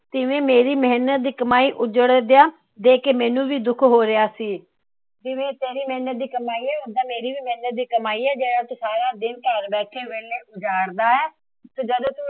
ਐਵੇ ਮੇਰੀ ਮੇਹਨਤ ਦੀ ਕਮਾਈ ਉੱਜੜ ਦਿਆਂ ਦੇਖ ਕੇ ਮੈਨੂੰ ਵੀ ਦੁੱਖ ਹੋ ਰਿਹਾ ਸੀ। ਜਿਵੇ ਏ ਤੇਰੀ ਮੇਹਨਤ ਦੀ ਕਮਾਈ ਏ ਓਦਾਂ ਮੇਰੀ ਵੀ ਮੇਹਨਤ ਦੀ ਕਮਾਈ ਏ। ਜਿਹੜਾ ਤੂੰ ਸਾਰਾ ਦਿਨ ਘਰ ਬੈਠੇ ਵੇਹਲਾ ਉਜਾੜ